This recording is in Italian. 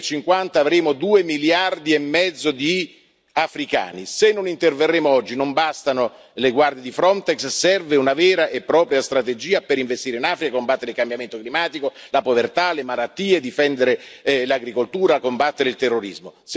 Nel 2050 avremo due miliardi e mezzo di africani, se non interverremo oggi non bastano le guardie di Frontex, serve una vera e propria strategia per investire in Africa, combattere il cambiamento climatico, la povertà, le malattie, difendere l'agricoltura e combattere il terrorismo.